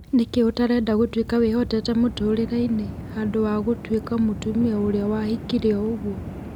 " Nĩkĩĩ ũtarenda gũtuĩka wĩhoteete mũtũrĩre-inĩ, handũ wa gũtuĩka mũtumia ũrĩa wahĩkire o-ũguo?"